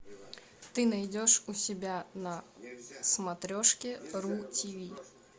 ты найдешь у себя на смотрешке ру тиви